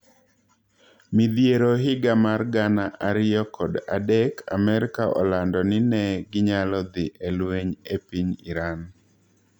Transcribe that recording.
Midhiero higa mar gana ariyo kod adek Amerka olando ni ne ginyalo dhie e lweny e piny Iran.